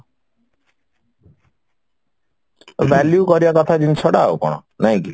value କରିବା କଥା ଜିନିଷଟା ଆଉ କଣ ନାଇଁକି?